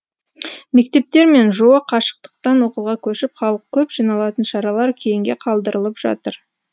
мектептер мен жоо қашықтықтан оқуға көшіп халық көп жиналатын шаралар кейінге қалдырылып жатыр